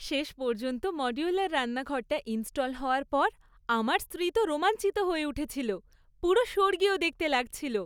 শেষ পর্যন্ত মডিউলার রান্নাঘরটা ইন্স্টল হওয়ার পর আমার স্ত্রী তো রোমাঞ্চিত হয়ে উঠেছিল। পুরো স্বর্গীয় দেখতে লাগছিল!